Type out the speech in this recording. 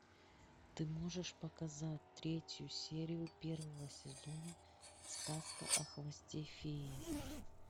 ты можешь показать третью серию первого сезона сказка о хвосте феи